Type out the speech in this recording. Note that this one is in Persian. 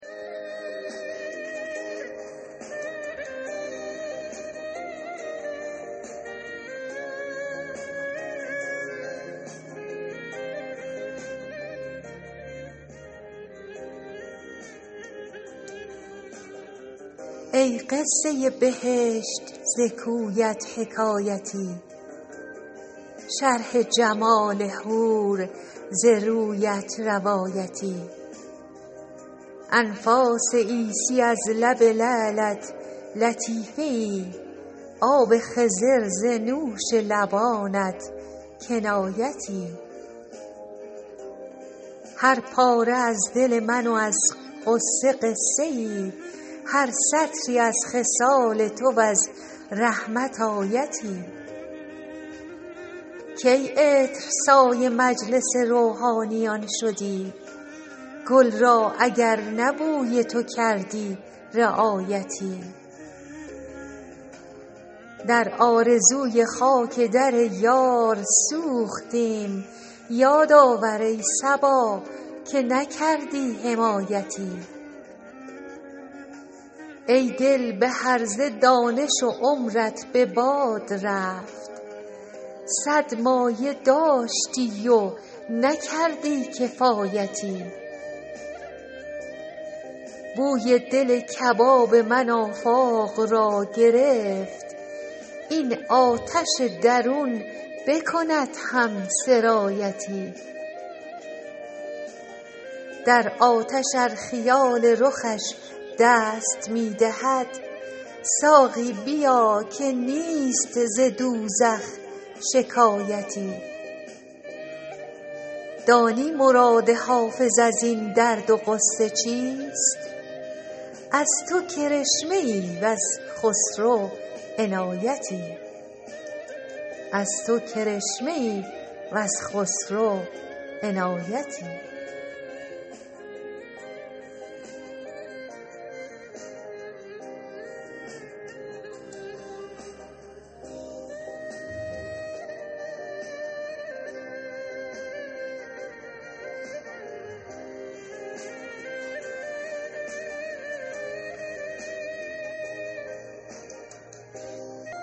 ای قصه بهشت ز کویت حکایتی شرح جمال حور ز رویت روایتی انفاس عیسی از لب لعلت لطیفه ای آب خضر ز نوش لبانت کنایتی هر پاره از دل من و از غصه قصه ای هر سطری از خصال تو و از رحمت آیتی کی عطرسای مجلس روحانیان شدی گل را اگر نه بوی تو کردی رعایتی در آرزوی خاک در یار سوختیم یاد آور ای صبا که نکردی حمایتی ای دل به هرزه دانش و عمرت به باد رفت صد مایه داشتی و نکردی کفایتی بوی دل کباب من آفاق را گرفت این آتش درون بکند هم سرایتی در آتش ار خیال رخش دست می دهد ساقی بیا که نیست ز دوزخ شکایتی دانی مراد حافظ از این درد و غصه چیست از تو کرشمه ای و ز خسرو عنایتی